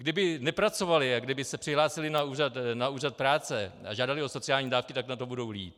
Kdyby nepracovali a kdyby se přihlásili na úřad práce a žádali o sociální dávky, tak na tom budou líp.